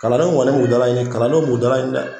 Kalandenw kɔni b'u dalaɲini kalandenw b'u dalaɲini dɛ.